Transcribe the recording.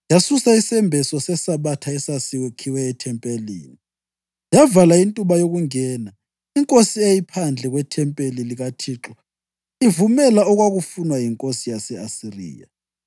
Yasusa isembeso seSabatha esasakhiwe ethempelini, yavala intuba yokungena inkosi eyayiphandle kwethempeli likaThixo, ivumela okwakufunwa yinkosi yase-Asiriya.